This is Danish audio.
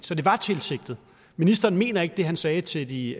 så det var tilsigtet ministeren mener ikke det han sagde til de